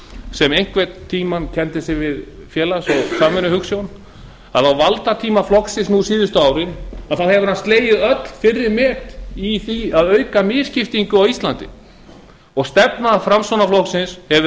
sem einhvern tímann kenndi sig við félags og samvinnuhugsjón að á valdatíma flokksins nú síðustu árin hefur hann slegið öll fyrri met í því að auka misskiptingu á íslandi stefna framsóknarflokksins hefur